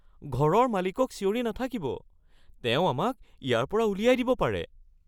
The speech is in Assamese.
ঘৰৰ মালিকক চিঞৰি নাথাকিব। তেওঁ আমাক ইয়াৰ পৰা উলিয়াই দিব পাৰে।